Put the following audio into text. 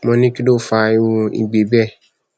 mo ní kí ló fa irú igbe bẹẹ